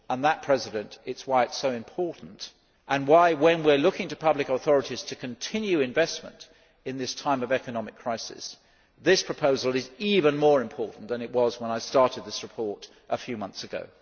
That is why it is so important and why, when we are looking to public authorities to continue investment in this time of economic crisis, this proposal is even more important than it was when I started this report a few month ago.